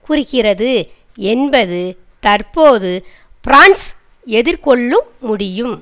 குறிக்கிறது என்பது தற்போது பிரான்ஸ் எதிர்கொள்ளும் முடியும்